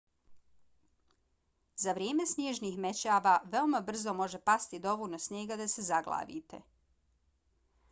za vrijeme snježnih mećava veoma brzo može pasti dovoljno snijega da se zaglavite